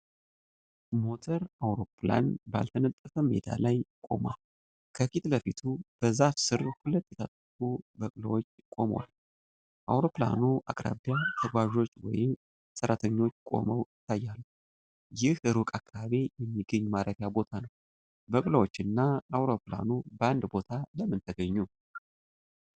ሞተር አውሮፕላን ባልተነጠፈ ሜዳ ላይ ቆሟል። ከፊት ለፊቱ በዛፍ ሥር ሁለት የታጠቁ በቅሎዎች ቆመዋል። አውሮፕላኑ አቅራቢያ ተጓዦች ወይ ሰራተኞች ቆመው ይታያሉ፤ ይህም ሩቅ አካባቢ የሚገኝ ማረፊያ ቦታ ነው። በቅሎዎች እና አውሮፕላኑ በአንድ ቦታ ለምን ተግኙ?